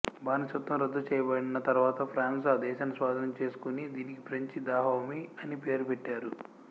బానిసత్వం రద్దు చేయబడిన తరువాత ఫ్రాన్సు ఆ దేశాన్ని స్వాధీనం చేసుకుని దీనికి ఫ్రెంచి దాహోమీ అని పేరు పెట్టారు